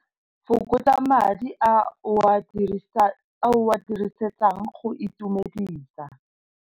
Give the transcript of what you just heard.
Fokotsa madi a o a dirisetsang go itumedisa.